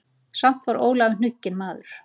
Samt var Ólafur hnugginn maður.